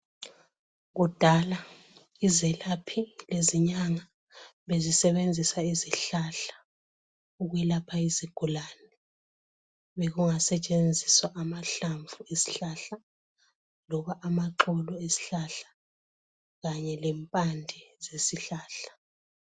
kudala izelaphi lezinyanga bezisebenzisa izihlahla ukwelapha izigulane bekungasetshenziswa amahlamvu ezihlahla loba amaxolo ezihlahla kanye lempnde zesihlahla